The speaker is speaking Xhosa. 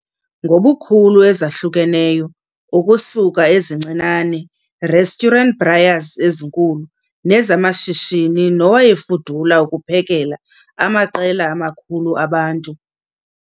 Zegesi ziyafumaneka kwi ngobukhulu ezahlukeneyo ukusuka ezincinane restaurantbraaiers ezinkulu nezamashishini nowayefudula ukuphekela amaqela amakhulu abantu.